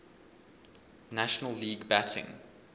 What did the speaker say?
national league batting